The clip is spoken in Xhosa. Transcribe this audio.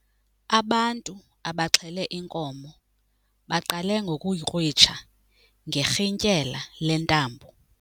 Ubantu abaxhele inkomo baqale ngokuyikrwitsha ngerhintyela lentambo.